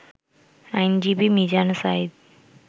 আইনজীবী মিজান সাঈদ